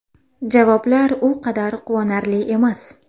Javoblar u qadar quvonarli emas.